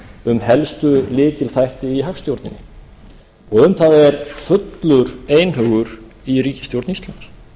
um helstu lykilþætti í hagstjórninni um það er fullur einhugur í ríkisstjórn íslands